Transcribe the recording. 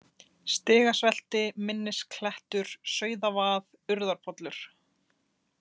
Stigasvelti, Mynnisklettur, Sauðavað, Urðarpollur